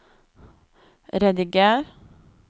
rediger